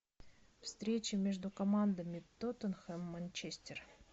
встреча между командами тоттенхэм манчестер